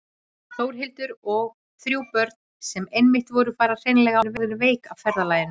Þórhildur: Og þrjú börn sem einmitt voru bara hreinlega orðin veik af ferðalaginu?